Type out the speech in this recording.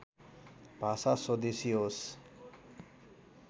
भाषा स्वदेशी होस्